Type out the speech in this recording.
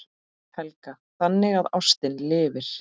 Helga: Þannig að ástin lifir?